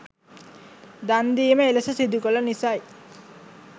දන්දීම එලෙස සිදුකළ නිසයි.